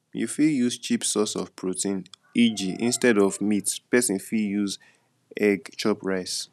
you fit use cheap source of protein eg instead of meat person fit use egg chop rice